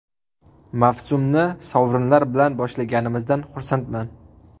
Mavsumni sovrinlar bilan boshlaganimizdan xursandman.